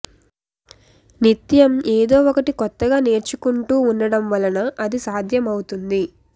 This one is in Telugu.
నిత్యం ఏదో ఒకటి కొత్తగా నేర్చుకుంటూ ఉండటం వల్ల అది సాధ్యం అవుతుంది